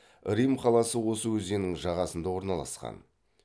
рим қаласы осы өзеннің жағасында орналасқан